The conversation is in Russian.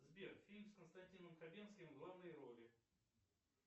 сбер фильм с константином хабенским в главной роли